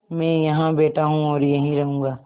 मैं यहाँ बैठा हूँ और यहीं रहूँगा